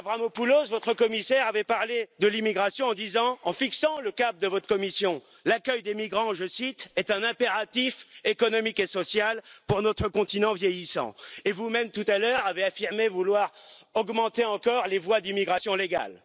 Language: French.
Avramopoulos, votre commissaire, avait parlé de l'immigration, en fixant le cadre de votre Commission, l'accueil des migrants, je cite, est un impératif économique et social pour notre continent vieillissant et vous même tout à l'heure, avez affirmé vouloir augmenter encore les voies d'immigration légale.